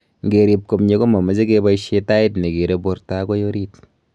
Ngerip komye ko mamache kebaishe tait negere borto agoi orit